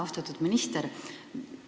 Austatud minister!